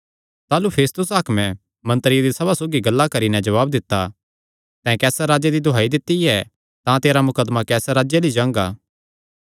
ताह़लू फेस्तुस हाकमे मंत्रियां दी सभा सौगी गल्लां करी नैं जवाब दित्ता तैं कैसर राजे दी दुहाई दित्ती ऐ तां तेरा मुकदमा कैसर राजे अल्ल ई जांगा